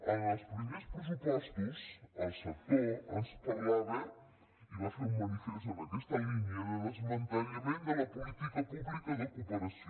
amb els primers pressupostos el sector ens parlava i va fer un manifest en aquesta línia de desmantellament de la política pública de cooperació